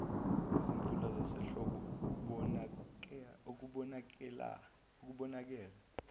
izimvula zasehlobo okubonakale